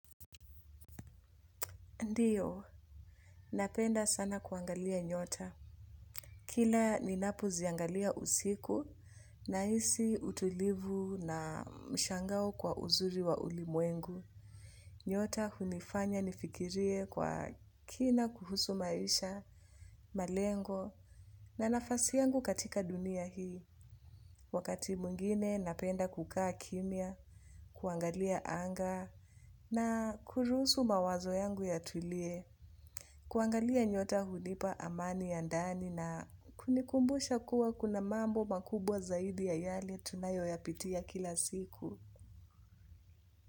Ndiyo, napenda sana kuangalia nyota. Kila ninapoziangalia usiku nahisi utulivu na mshangao kwa uzuri wa ulimwengu. Nyota hunifanya nifikirie kwa kina kuhusu maisha, malengo na nafasi yangu katika dunia hii. Wakati mwingine napenda kukaa kimya, kuangalia anga na kuruhusu mawazo yangu yatulie, kuangalia nyota hunipa amani ya ndani na kunikumbusha kuwa kuna mambo makubwa zaidi ya yale tunayoyapitia kila siku.